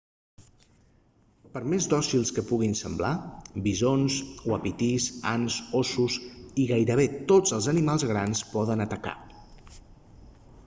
per més dòcils que puguin semblar bisons uapitís ants ossos i gairebé tots els animals grans poden atacar